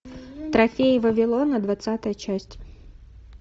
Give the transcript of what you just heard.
трофеи вавилона двадцатая часть